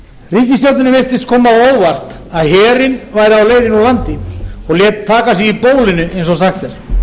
á óvart að herinn væri á leiðinni úr landi og lét taka sig í bólinu eins og sagt er